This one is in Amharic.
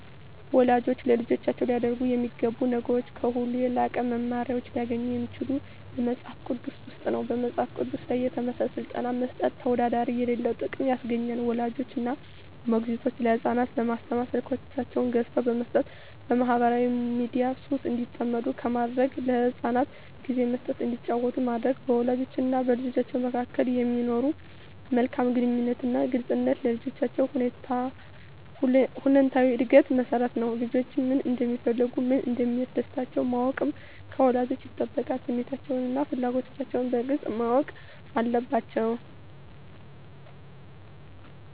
ወላጆች ለልጆቻቸው ሊያደርጓቸው የሚገቡ ነገሮች ከሁሉ የላቁ መመሪያዎች ሊገኙ የሚችሉት በመጽሐፍ ቅዱስ ውስጥ ነው። በመጽሐፍ ቅዱስ ላይ የተመሠረተ ሥልጠና መስጠት ተወዳዳሪ የሌለው ጥቅም ያስገኛል። ወላጆች እና ሞግዚቶች ለሕፃናት በስማርት ስልኮችን ገዝተው በመስጠት በማኅበራዊ ሚዲያ ሱስ እንዲጠመዱ ከማድረግ ለሕፃናት ጊዜ መስጠት እንዲጫወቱ ማድረግ፣ በወላጆችና በልጆች መካከል የሚኖር መልካም ግንኙነትና ግልጽነት ለልጆች ሁለንተናዊ ዕድገት መሠረት ነው። ልጆች ምን እንደሚፈልጉ፣ ምን እንደሚያስደስታቸው ማወቅ ከወላጆች ይጠበቃል። ስሜቶቻቸውንና ፍላጎቶቻቸውን በግልጽ ማወቅ አለባቸዉ።